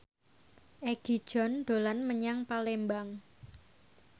Egi John dolan menyang Palembang